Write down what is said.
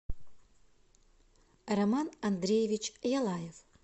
роман андреевич ялаев